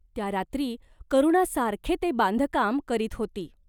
त्या रात्री करुणा सारखे ते बांधकाम करीत होती.